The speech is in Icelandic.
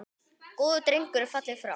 Góður drengur er fallinn frá.